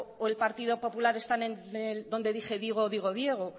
o el partido popular están en el donde dije digo digo diego